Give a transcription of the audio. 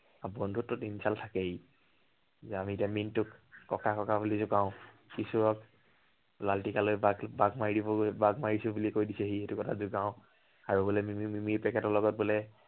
আৰু বন্ধুত্বত insult থকেই। যে আমি এতিয়া মিন্টুক ককা বুলি জোকাও। কিশোৰক, বালটি এটা লৈ বাঘ মাৰিবলৈ, বাঘ মাৰিছো বুলি কৈ দিছে, সেইটো কথা জোকাও। আৰু মিমি মিমি packet ৰ লগত বোলে